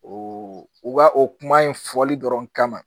O u ka o kuma in fɔli dɔrɔn kama